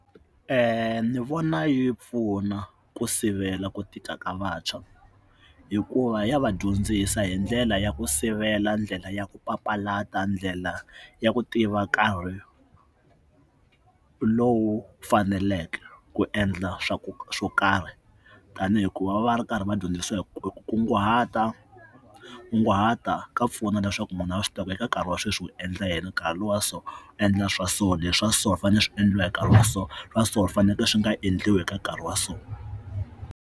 ni vona yi pfuna ku sivela ku tika ka vantshwa hikuva ya va dyondzisa hi ndlela ya ku sivela ndlela ya ku papalata ndlela ya ku tiva nkarhi lowu faneleke ku endla swa ku swo karhi tanihi hikuva va va ri karhi va dyondzisa hi ku kunguhata kunguhata ka pfuna leswaku munhu a swi kota eka nkarhi wa sweswi wu endla yena nkarhi lowa so endla swa so leswa so swi fanele swi endliwa hi nkarhi wa so swa so fanekele swi nga endliwi eka nkarhi wa so.